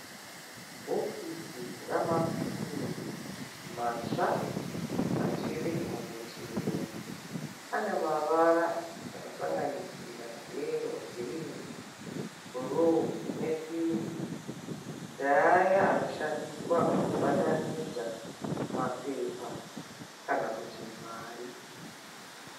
Bhokisi ramapini matsva achiri mubutiro. Ane mavara anosanganisira yero, girinhi, bhuruu nepingi. Ndaaya anoshandiswa pakubatanidza mapepa kana kuti mari.